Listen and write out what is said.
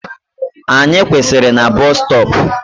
Anyị kwụsịrị na busstop